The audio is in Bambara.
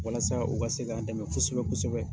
Walasa u ka se k'an dɛmɛ kosɛbɛ kosɛbɛ.